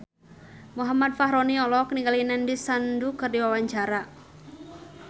Muhammad Fachroni olohok ningali Nandish Sandhu keur diwawancara